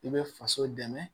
I bɛ faso dɛmɛ